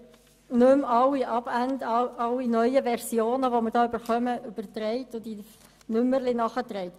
Ich bitte um Entschuldigung, ich habe nicht alle neuen Versionen und Nummerierungen nachgetragen.